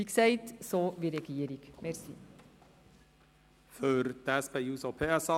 Wie gesagt, werden wir uns bei diesen Vorstössen so wie die Regierung verhalten.